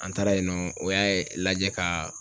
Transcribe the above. An taara yen nɔ, u y'a lajɛ ka